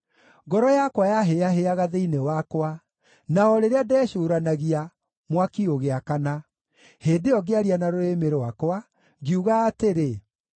Ngoro yakwa yahĩĩahĩaga thĩinĩ wakwa, na o rĩrĩa ndecũũranagia, mwaki ũgĩakana; hĩndĩ ĩyo ngĩaria na rũrĩmĩ rwakwa, ngiuga atĩrĩ: